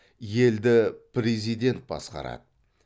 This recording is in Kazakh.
елді президент басқарады